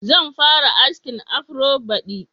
Zan fara askin afro baɗi.